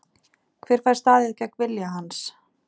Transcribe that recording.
Hver fær staðið gegn vilja hans?